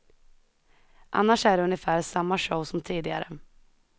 Annars är det ungefär samma show som tidigare.